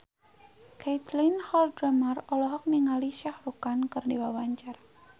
Caitlin Halderman olohok ningali Shah Rukh Khan keur diwawancara